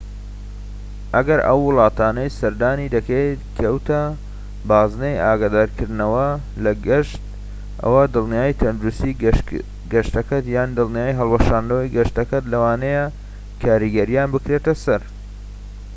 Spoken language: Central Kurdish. ئەگەر ئەو وڵاتەی سەردانی دەکەیت کەوتە بازنەی ئاگادارکردنەوە لە گەشت ئەوا دڵنیایی تەندروستیی گەشتەکەت یان دڵنیایی هەڵوەشاندنەوەی گەشتەکەت لەوانەیە کاریگەرییان بکرێتە سەر